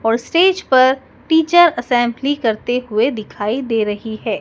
और स्टेज पर teacher assembly करते हुए दिखाई दे रही है।